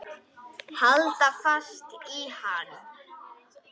Halda fast í hann!